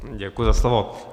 Děkuji za slovo.